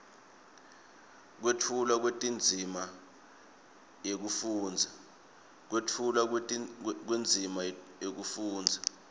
kwetfulwa kwendzima yekufundza